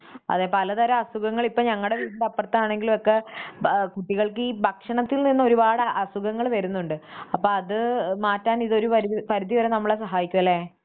അതേ പലതരം അസുഖങ്ങള് ഇപ്പം ഞങ്ങടെ വീടിൻറെ അപ്പറത്താണെങ്കിൽ ഉള്ളവർക്ക് ബാ, കുട്ടികൾക്കീ ഭക്ഷണത്തിൽ നിന്ന് ഒരുപാട് അസുഖങ്ങൾ വരുന്നുണ്ട് അപ്പം അത് മാറ്റാൻ ഇതൊരു വരിധി, പരിധിവരെ നമ്മളെ സഹായിക്കുമല്ലെ?